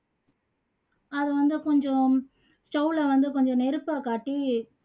அதை வந்து கொஞ்சம் stove ல வந்து கொஞ்சம் நெருப்பை காட்டி